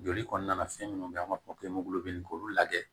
Joli kɔnɔna na fɛn minnu bɛ an b'a fɔ k'olu lajɛ